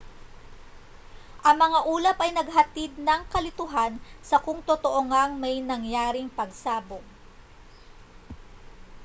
ang mga ulap ay naghatid ng kalituhan sa kung totoo ngang may nangyaring pagsabog